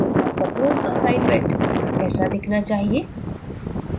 आपका पूर्ण असाइनमेंट ऐसा दिखना चाहिए